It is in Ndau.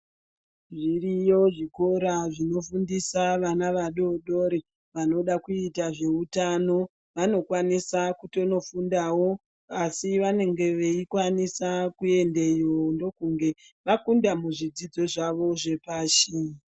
Zviriyo zvikora zvinofundisa vana vadodori vanoda kuita zveutano vanokwanisa kutonofundawo asi vanenge veikwanisa kuendeyo ndokunge vakunda muzvidzidzo zvavo zvepashi .